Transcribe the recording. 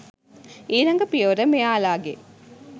ඊලඟ පියවර මෙයාලාගේ.